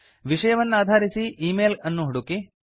ವಿಷವನ್ನಾಧರಿಸಿ -email ಅನ್ನು ಹುಡುಕಿ